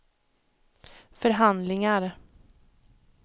förhandlingar